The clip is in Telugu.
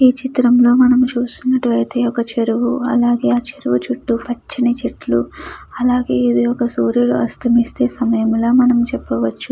ఈ చిత్రంలో మనం చూసుకున్నట్లయితే ఒక చెరువు అలాగే చెరువు చుట్టూ పచ్చని చెట్లు అలాగే ఇది ఒక సూర్యుడు అస్తమించే ప్రదేశం అస్తమించే సమయంలో మనం చెప్పవచ్చు.